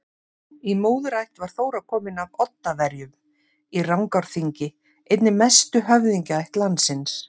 Í móðurætt var Þóra komin af Oddaverjum í Rangárþingi, einni mestu höfðingjaætt landsins.